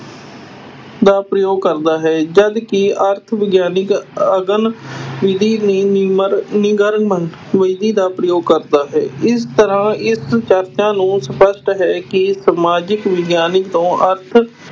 ਦਾ ਪ੍ਰਯੋਗ ਕਰਦਾ ਹੈ ਜਦਕਿ ਅਰਥ ਵਿਗਿਆਨਕ ਅਗਨ ਵਿਧੀ ਨਿਗਮਨ ਵਿਧੀ ਦਾ ਪ੍ਰਯੋਗ ਕਰਦਾ ਹੈ, ਇਸ ਤਰ੍ਹਾਂ ਇਸ ਚਰਚਾ ਨੂੰ ਸਪਸ਼ਟ ਹੈ ਕਿ ਸਮਾਜਿਕ ਵਿਗਿਆਨਕ ਤੋਂ ਅਰਥ